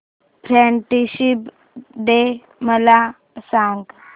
friendship day मला सांग